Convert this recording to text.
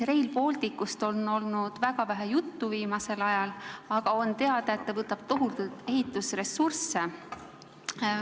Rail Balticust on viimasel ajal olnud väga vähe juttu, aga on teada, et see võtab tohutult ehitusressurssi.